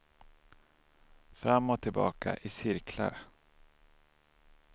Fram och tillbaka, i cirklar.